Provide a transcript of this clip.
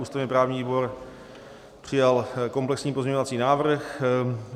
Ústavně-právní výbor přijal komplexní pozměňovací návrh.